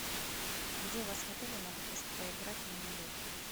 где у вас в отеле могут поиграть в мини гольф